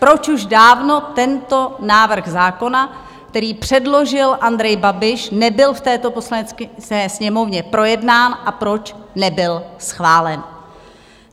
Proč už dávno tento návrh zákona, který předložil Andrej Babiš, nebyl v této Poslanecké sněmovně projednán a proč nebyl schválen?